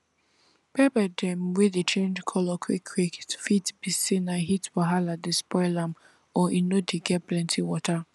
pepper dem wey dey change color quick quick fit be say na heat wahala dey spoil am or e no dey get plenty water